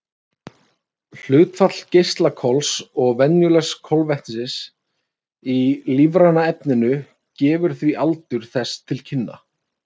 Hlutfall geislakols og venjulegs kolefnis í lífræna efninu gefur því aldur þess til kynna.